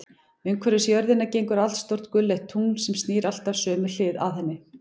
Umhverfis jörðina gengur allstórt gulleitt tungl, sem snýr alltaf sömu hlið að henni.